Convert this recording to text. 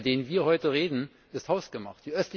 Und der, über den wir heute reden, ist hausgemacht.